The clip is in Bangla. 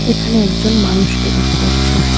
এখানে একজন মানুষকে দেখা যাচ্ছে।